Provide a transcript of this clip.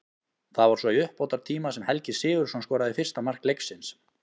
Það var svo í uppbótartíma sem Helgi Sigurðsson skoraði fyrsta mark leiksins.